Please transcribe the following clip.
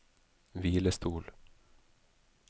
hvilestol